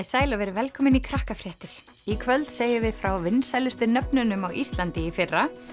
sæl og verið velkomin í Krakkafréttir í kvöld segjum við frá vinsælustu nöfnunum á Íslandi í fyrra